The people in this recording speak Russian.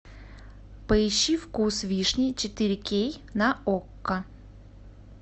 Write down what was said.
поищи вкус вишни четыре кей на окко